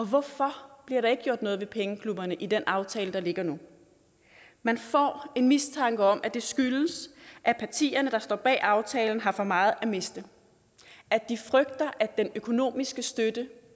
hvorfor bliver der ikke gjort noget ved pengeklubberne i den aftale der ligger nu man får en mistanke om at det skyldes at partierne der står bag aftalen har for meget at miste at de frygter at den økonomiske støtte